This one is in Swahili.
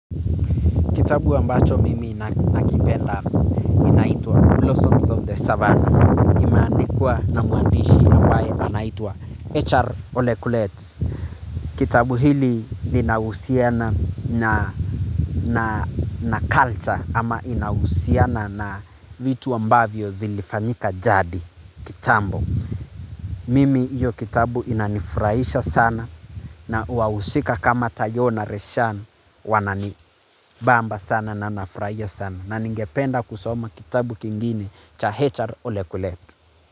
Kitabu ambacho mimi nakipenda inaitwa Blossoms of the Savannah. Imeandikwa na mwandishi ambaye anaitwa HR Olekulet. Kitabu hili linahusiana na culture ama inahusiana na vitu ambavyo zilifanyika jadi kitambo. Mimi iyo kitabu inanifurahisha sana na wahusika kama tayo na reshan wanani bamba sana na nafurahia sana. Na ningependa kusoma kitabu kingine cha hr ole kulet.